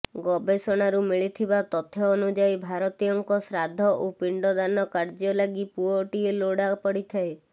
ଗବେଷଣାରୁ ମିଳିଥିବା ତଥ୍ୟ ଅନୁଯାୟୀ ଭାରତୀୟଙ୍କ ଶ୍ରାଦ୍ଧ ଓ ପିଣ୍ଡଦାନ କାର୍ଯ୍ୟ ଲାଗି ପୁଅଟିଏ ଲୋଡ଼ା ପଡ଼ିଥାଏ